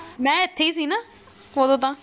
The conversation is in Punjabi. ਮੈਂ ਇੱਥੇ ਹੀ ਸੀ ਨਾ ਓਦੋਂ ਤਾਂ।